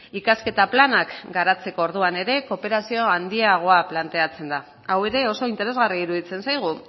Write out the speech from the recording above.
ikasketa planak garatzeko orduan ere kooperazio handiago planteatzen da hau ere oso interesgarria iruditzen zaigu